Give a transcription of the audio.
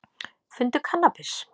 Fundu kannabis